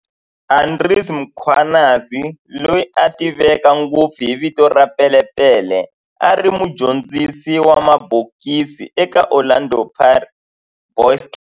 Andries Mkhwanazi, loyi a tiveka ngopfu hi vito ra"Pele Pele", a ri mudyondzisi wa mabokisi eka Orlando Boys Club